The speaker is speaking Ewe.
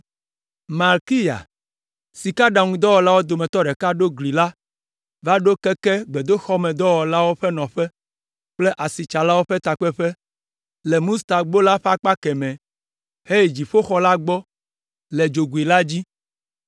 Malkiya, sikaɖaŋuwɔlawo dometɔ ɖeka ɖo gli la va ɖo keke gbedoxɔmedɔwɔlawo ƒe nɔƒe kple asitsalawo ƒe takpeƒe le “Mustagbo” la ƒe akpa kemɛ heyi dziƒoxɔ la gbɔ le dzogoe la dzi.